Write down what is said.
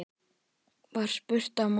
var spurt að morgni.